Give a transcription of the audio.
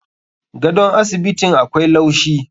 Gadon asibitin akwai laushi.